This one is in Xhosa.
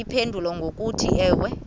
bayiphendule ngokuthi ewe